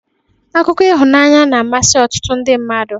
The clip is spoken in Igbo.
Akụkọ ịhụnany na-amasị ọtụtụ ndị mmadụ.